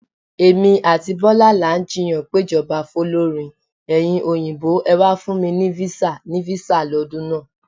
Èmi àti Bọ́lá là ń jiyàn péjọba fólórin "Ẹ̀yin Òyìnbó ẹ̀ wà fún mi ní visa..." ni visa lọ́dún náà.